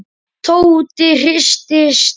Tóti hristi sig.